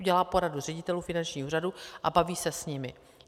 Udělá pořadu ředitelů finančních úřadů a baví se s nimi.